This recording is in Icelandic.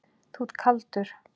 Þú ert kaldur!